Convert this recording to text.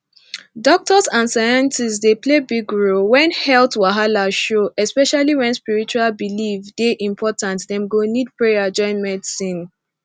doctors and scientists dey play big role when health wahala show especially where spiritual belief dey important dem go need prayer join medicine